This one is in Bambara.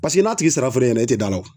Paseke n'a tigi sara fɔra e ɲɛna e tɛ d'a la